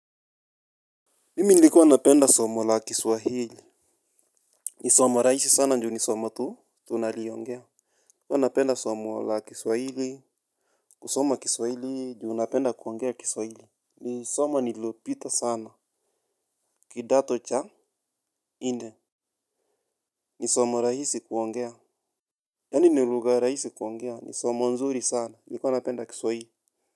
Mimi nilikuwa napenda somo la kiswahili. Ni somo rahisi sana ndio ni somo tu, tunaliongea. Huwa napenda somo la kiswahili. Kusoma kiswahili, juu napenda kuongea kiswahili. Ni somo nililopita sana. Kidato cha nne. Ni somo rahisi kuongea. Yani ni lugha rahisi kuongea. Ni somo nzuri sana. Nilikuwa napenda kiswahili.